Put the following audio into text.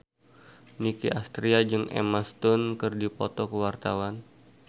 Nicky Astria jeung Emma Stone keur dipoto ku wartawan